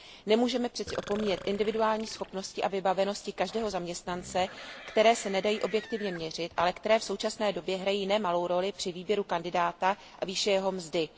Nemůžeme přece opomíjet individuální schopnosti a vybavenosti každého zaměstnance, které se nedají objektivně měřit, ale které v současné době hrají nemalou roli při výběru kandidáta a výši jeho mzdy.